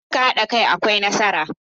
Idan kuka hada kai akwai nasara.